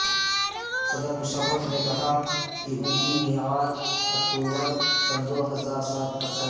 صدر مشرف نے کہا کہ ان کی معیاد اکتوبر سن دو ہزار سات تک ہے